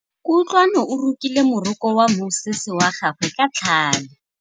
Kutlwanô o rokile morokô wa mosese wa gagwe ka tlhale.